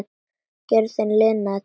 Gjörðin linar takið.